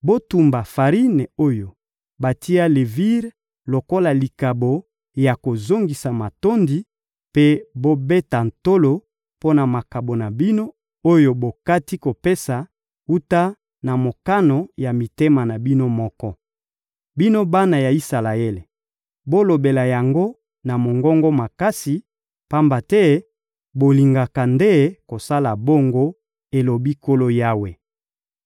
Botumba farine oyo batia levire lokola likabo ya kozongisa matondi, mpe bobeta tolo mpo na makabo na bino, oyo bokati kopesa wuta na mokano ya mitema na bino moko. Bino bana ya Isalaele, bolobela yango na mongongo makasi, pamba te bolingaka nde kosala bongo, elobi Nkolo Yawe.